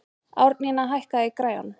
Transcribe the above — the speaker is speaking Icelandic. Árnína, hækkaðu í græjunum.